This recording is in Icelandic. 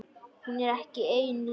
Hún er ekki ein lengur.